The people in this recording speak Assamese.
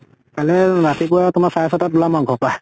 কাইলে ৰাতিপুৱা তোমাৰ চাৰে ছটাত উলাম আৰু ঘৰৰ পৰা।